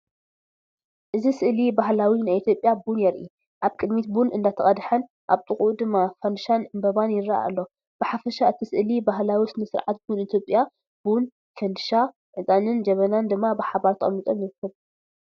እዚ ስእሊ ባህላዊ ናይ ኢትዮጵያ ቡን የርኢ። ኣብ ቅድሚት ቡን አንዳተቀድሐን ኣብ ጥቅእኡ ድማ ፍንድሻን ዕጣንን ይረአ ኣሎ። ብሓፈሻ እቲ ስእሊ ባህላዊ ስነ-ስርዓት ቡን ኢትዮጵያ፣ ቡን፣ ፈንድሻ፣ ዕጣንን ጀበናን ድማ ብሓባር ተቐሚጦም ይርከቡ።